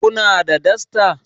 Kuna da dasta?